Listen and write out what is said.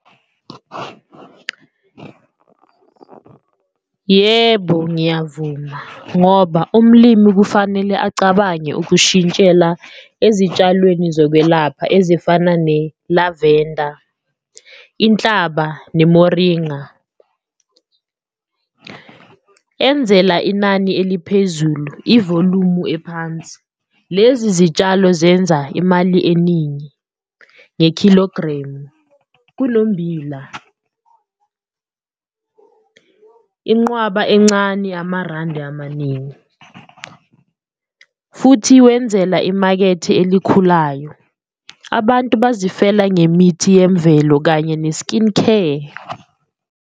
Yebo, ngiyavuma ngoba umlimi kufanele acabange ukushintshela ezitshalweni zokwelapha ezifana ne-lavender, inhlaba nemoringa enzela inani eliphezulu ivolumu ephansi, lezi zitshalo zenza imali eningi nge-kilogram. Kunommbila inqwaba encane amarandi amaningi futhi wenzela imakethe elikhulayo, abantu bazifela ngemithi yemvelo kanye ne-skin care.